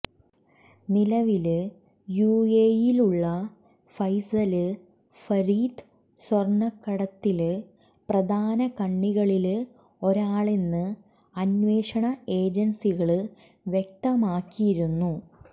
നിലവില് യുഎഇയിലുള്ള ഫൈസല് ഫരീദ് സ്വര്ണക്കടത്തില് പ്രധാന കണ്ണികളില് ഒരാളെന്ന് അന്വേഷണ ഏജന്സികള് വ്യക്തമാക്കിയിരുന്നു